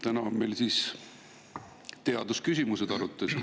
Täna on meil arutelul teadusküsimused.